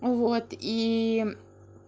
ну вот и